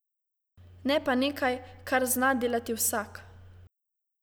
Ne pa nekaj, kar zna delati vsak.